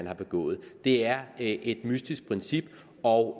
har begået det er et mystisk princip og